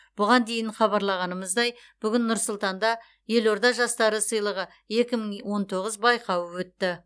бұған дейін хабарлағанымыздай бүгін нұр сұлтанда елорда жастары сыйлығы екі мың он тоғыз байқауы өтті